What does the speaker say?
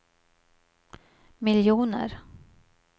miljoner